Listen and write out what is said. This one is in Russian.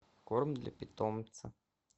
корм для питомца